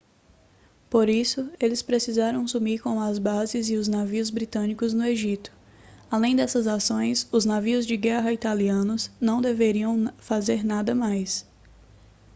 por isso eles precisaram sumir com as bases e os navios britânicos no egito além dessas ações os navios de guerra italianos não deveriam fazer nada mais